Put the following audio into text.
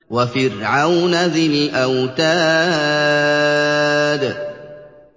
وَفِرْعَوْنَ ذِي الْأَوْتَادِ